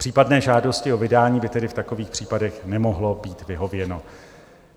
Případné žádosti o vydání by tedy v takových případech nemohlo být vyhověno.